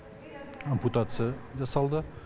ампутация жасалды